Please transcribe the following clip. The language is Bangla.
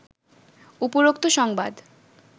উপরোক্ত সংবাদ